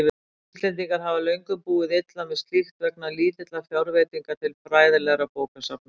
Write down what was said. Íslendingar hafa löngum búið illa með slíkt vegna lítilla fjárveitinga til fræðilegra bókasafna.